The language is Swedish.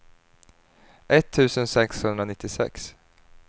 etttusen sexhundranittiosex